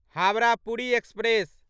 Howrah Puri express